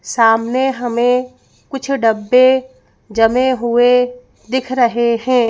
सामने हमें कुछ डब्बे जमे हुए दिख रहे हैं।